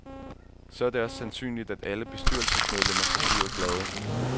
Så er det også sandsynligt, at alle bestyrelsesmedlemmer forbliver glade.